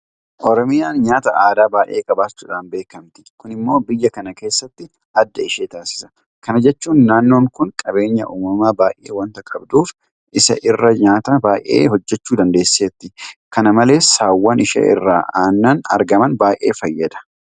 Oromiyaan nyaata aadaa baay'ee qabaachuudhaan beekamti. Kun immoo biyya kana keessatti adda ishee taasisa. Kana jechuun naannoon kun qabeenya uumamaa baay'ee waanta qabduuf isa irraa nyaata baay'ee hojjechuu dandeesseetti. Kana malees saawwan ishee irraa aannan argaman bay'ee fayyadaa jiru.